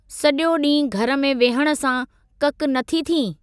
सजो॒ डीं॒हुं घरु में विहणु सां ककि नथी थीं|